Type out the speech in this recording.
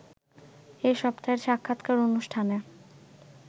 এ সপ্তাহের সাক্ষাৎকার অনুষ্ঠানে